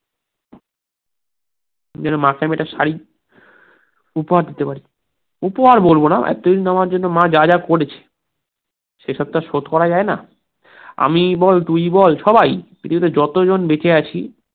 যেন মাকে আমি একটা শাড়ী উপহার দিতে পারি উপহার বলবোনা, এতদিন মা আমার জন্য যা যা করেছে, সেসব তো আর শোধ করা যায়না, আমিই বল, তুইই বল, সবাই, পৃথিবীতে যতজন বেঁচে আছি